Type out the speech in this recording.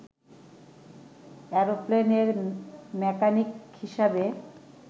অ্যারোপ্লেনের mechanic হিসেবে